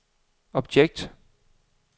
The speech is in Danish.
objekt